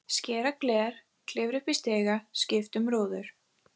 Skera gler, klifra upp í stiga, skipta um rúður.